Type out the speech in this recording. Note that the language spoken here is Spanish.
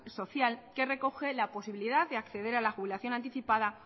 social que recoge la posibilidad de acceder a la jubilación anticipada